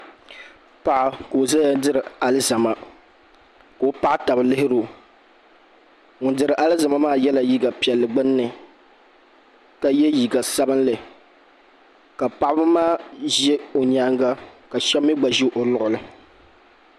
paɣa ka o zaya diri alizama ka o paɣa taba lihiri o ŋun diri alizama maa yela liiga piɛlli gbunni ka ye liiga sabinli ka paɣaba maa ʒe o nyaaga ka shɛba mi gba ʒe o luɣili.